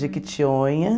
Jequitionha.